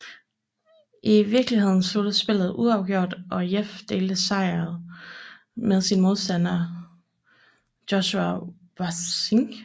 I vikeligheden sluttede spillet uafgjort og Jeff delte sejret med sin modstander Joshua Waitzkin